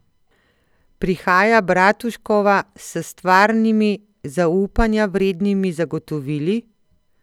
Prihaja Bratuškova s stvarnimi, zaupanja vrednimi zagotovili?